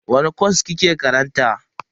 Wani kwas kike karanta?